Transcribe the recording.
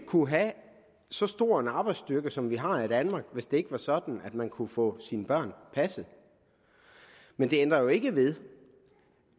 kunne have så stor en arbejdsstyrke som vi har i danmark hvis det ikke var sådan at man kunne få sine børn passet men det ændrer jo ikke ved